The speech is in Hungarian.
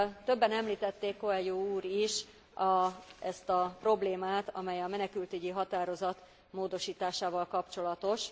Többen említették, Coelho úr is, ezt a problémát, amely a menekültügyi határozat módosításával kapcsolatos.